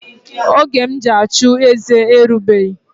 Oge m ji achụeze erigbeghi